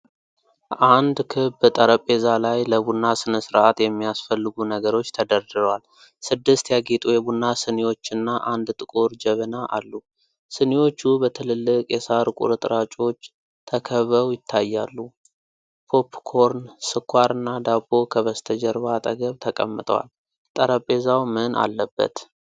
አንድ ክብ ጠረጴዛ ላይ ለቡና ሥነ ሥርዓት የሚያስፈልጉ ነገሮች ተደርድረዋል። ስድስት ያጌጡ የቡና ስኒዎችና አንድ ጥቁር ጀበና አሉ። ስኒዎቹ በትልልቅ የሣር ቁርጥራጮች ተከብበው ይታያሉ። ፖፕ ኮርን፣ ስኳር እና ዳቦ ከበስተጀርባ አጠገብ ተቀምጠዋል። ጠረጴዛው ምን አለበት?'